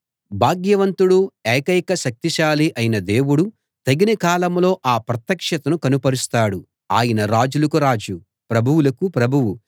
భాగ్యవంతుడు ఎకైక శక్తిశాలి అయిన దేవుడు తగిన కాలంలో ఆ ప్రత్యక్షతను కనుపరుస్తాడు ఆయన రాజులకు రాజు ప్రభువులకు ప్రభువు